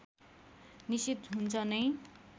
निषेध हुन्छ नै